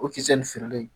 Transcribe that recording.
O kisɛ nin feerelen